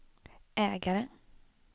ägare